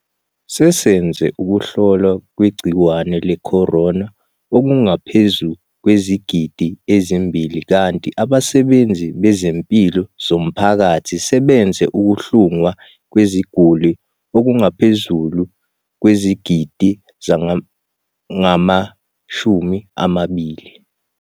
Sesenze ukuhlolwa kwegciwane le-corona okungaphezu kwezigidi ezimbili kanti abasebenzi bezempilo bomphakathi sebenze ukuhlungwa kweziguli okungaphezu kwezigidi ezingama-20.